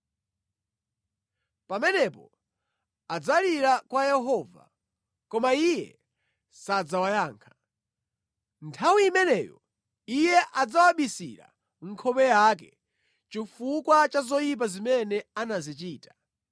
Pamenepo adzalira kwa Yehova, koma Iye sadzawayankha. Nthawi imeneyo Iye adzawabisira nkhope yake chifukwa cha zoyipa zimene anazichita.